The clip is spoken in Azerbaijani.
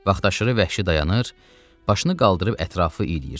Vaxtaşırı vəhşi dayanır, başını qaldırıb ətrafı ilirdi.